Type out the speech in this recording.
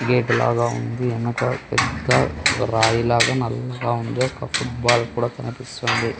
Gate లాగా ఉంది వెనక పెద్ద రాయిలాగా నల్లగా ఉంది ఒక ఫూట్ బాల్ కూడా కనిపిస్తూ ఉంది.